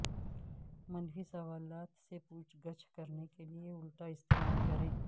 منفی سوالات سے پوچھ گچھ کرنے کے لئے الٹا استعمال کریں